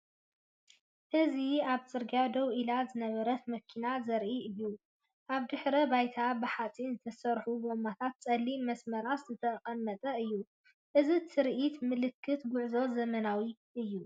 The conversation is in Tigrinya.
እዚ ኣብ ጽርግያ ደው ኢላ ዝነበረት መኪና ዘርኢ እዩ። ኣብ ድሕረ ባይታ ብሓጺን ዝተሰርሑ ጎማታትን ጸሊም መስመራትን ዝተቐመጠ እዩ። እዚ ትርኢት ምልክት ጉዕዞን ዘመናዊነትን እዩ።